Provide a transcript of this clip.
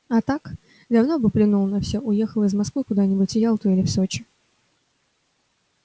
а так давно бы плюнул на все уехал из москвы куда-нибудь в ялту или в сочи